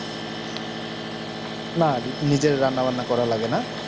না নিজে রান্না বান্না করা লাগে না